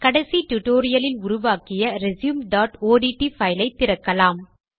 கடைசி டுடோரியலில் உருவாக்கிய resumeஒட்ட் பைலையே திறக்கலாம்